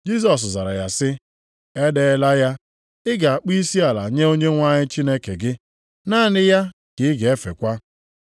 Jisọs zara ya sị, “E deela ya: ‘Ị ga-akpọ isiala nye Onyenwe anyị Chineke gị, naanị ya ka ị ga-efekwa.’ + 4:8 \+xt Dit 6:13\+xt* ”